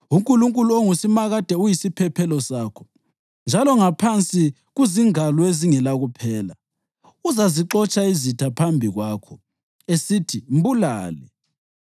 UNkulunkulu ongusimakade uyisiphephelo sakho, njalo ngaphansi kuzingalo ezingelakuphela. Uzazixotsha izitha phambi kwakho esithi, ‘Mbulale!’